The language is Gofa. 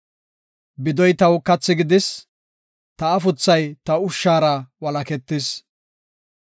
Bidoy taw kathi gidis; ta afuthay ta ushshara Walaketis.